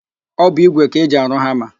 Ọ bụ ígwè ka eji arụ hama.